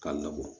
K'a labɔ